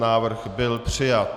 Návrh byl přijat.